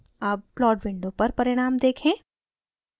अब plot window पर परिणाम देखें